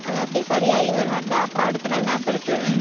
அவன் அப்படியே சரியாகி வருவான்ல, அப்ப அடுத்த நாள் நான் படுத்துருவேன்.